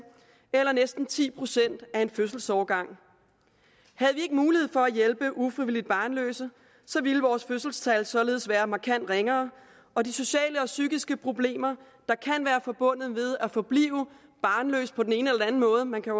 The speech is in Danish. eller næsten ti procent af en fødselsårgang havde vi ikke mulighed for at hjælpe ufrivilligt barnløse ville vores fødselstal således være markant ringere og de sociale og psykiske problemer der kan være forbundet med at forblive barnløs på den ene eller anden måde man kan